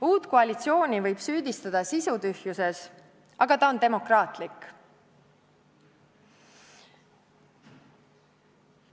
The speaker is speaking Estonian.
Uut koalitsiooni võib süüdistada sisutühjuses, aga ta on demokraatlik.